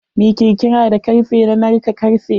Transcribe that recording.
Mi kirkira da karfe na narka karfe.